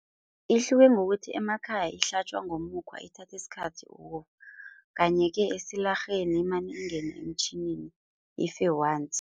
Ihluke ngokuthi emakhaya ihlatjwa ngomukhwa ithatha isikhathi. Kanti-ke esilarheni imane ingene emtjhinini ife once.